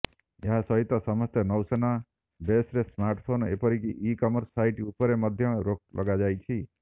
ଏହା ସହିତ ସମସ୍ତ ନୌସେନା ବେସ୍ରେ ସ୍ମାର୍ଟଫୋନ୍ ଏପରିକି ଇ କମର୍ସ ସାଇଟ୍ ଉପରେ ମଧ୍ୟ ରୋକ୍ ଲଗାଯାଇଛି